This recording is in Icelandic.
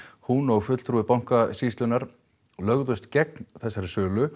hún og fulltrúi Bankasýslunnar lögðust gegn